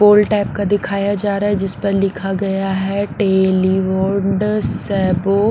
गोल type का दिखाया जा रहा है जिस पर लिखा गया है टेलिंगड़ास वो।